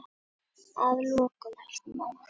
Að lokum, elsku mamma.